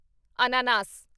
ਅਨਾਨਾਸ